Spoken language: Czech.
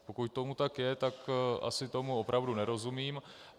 Pokud tomu tak je, tak asi tomu opravdu nerozumím.